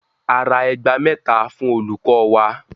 A ra ẹgba mẹ́ta fún olùkọ wa.